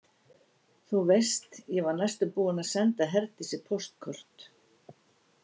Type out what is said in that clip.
Þú veist, ég var næstum búin að senda Herdísi póstkort.